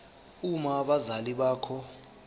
uma abazali bakho